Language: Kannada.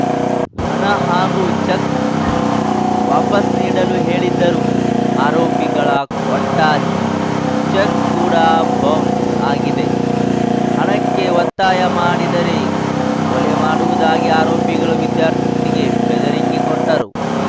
ಹಣ ಹಾಗೂ ಚೆಕ್‌ ವಾಪಸ್‌ ನೀಡಲು ಹೇಳಿದ್ದರು ಆರೋಪಿಗಳ ಕೊಟ್ಟ ಚೆಕ್‌ ಕೂಡ ಬೌನ್ಸ್‌ ಆಗಿದೆ ಹಣಕ್ಕೆ ಒತ್ತಾಯ ಮಾಡಿದರೆ ಕೊಲೆ ಮಾಡುವುದಾಗಿ ಆರೋಪಿಗಳು ವಿದ್ಯಾ ರ್ಥಿಗೆ ಬೆದರಿಕೆ ಕೂಟ್ಟರು